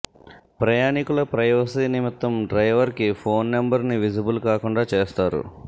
ప్రయాణికుల ప్రైవసీ నిమిత్తం డ్రైవర్కి ఫోన్ నెంబర్ని విజిబుల్ కాకుండా చేస్తారు